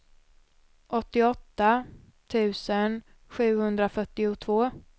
åttioåtta tusen sjuhundrafyrtiotvå